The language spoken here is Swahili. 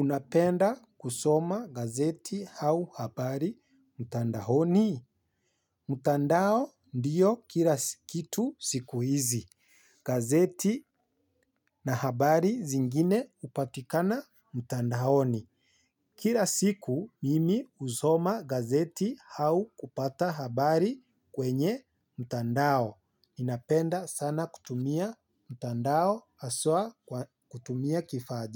Unapenda kusoma gazeti au habari mtandahoni. Mutandao ndiyo kila kitu siku hizi. Gazeti na habari zingine hupatikana mtandahoni. Kira siku mimi husoma gazeti hau kupata habari kwenye mutandao. Ninapenda sana kutumia mtandao haswa kutumia kifaa